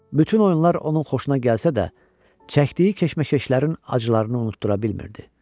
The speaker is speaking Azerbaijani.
Bütün oyunlar onun xoşuna gəlsə də, çəkdiyi keşməkeşlərin acılarını unutdura bilmirdi.